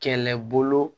Kɛlɛbolo